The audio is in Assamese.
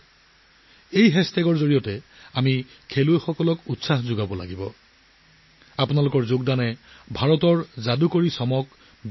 এই হেচটেগৰ জৰিয়তে আমি আমাৰ খেলুৱৈসকলক উৎসাহিত কৰিব লাগিব তেওঁলোকক উৎসাহিত কৰি থাকক